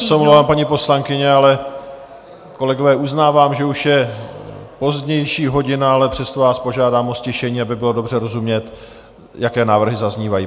Já se omlouvám, paní poslankyně, ale kolegové, uznávám, že už je pozdější hodina, ale přesto vás požádám o ztišení, aby bylo dobře rozumět, jaké návrhy zaznívají.